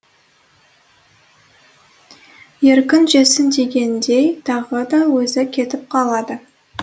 еркін жесін дегендей тағы да өзі кетіп қалады